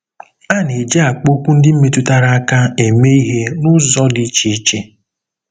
A na-eji akpaokwu ndị metụtara aka eme ihe n'ụzọ dị iche iche.